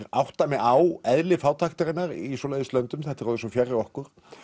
átta mig á eðli fátæktarinnar í svoleiðis löndum þetta er orðið svo fjarri okkur